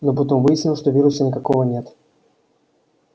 но потом выяснилось что вируса никакого нет